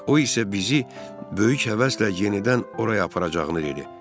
O isə bizi böyük həvəslə yenidən oraya aparacağını dedi.